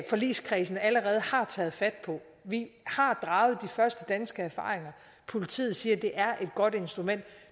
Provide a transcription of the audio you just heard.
forligskredsen allerede har taget fat på vi har draget de første danske erfaringer politiet siger at det er et godt instrument og